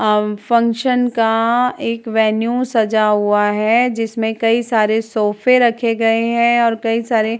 अव फंक्शन का एक वेन्यू सजा हुआ है जिसमें कई सारे सोफें रखे गए हैं और कई सारे --